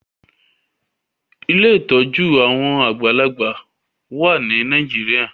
Ilé ìtọjú àwọn àgbàlagbà wá ní Nàìjíríà